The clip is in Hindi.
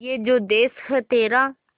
ये जो देस है तेरा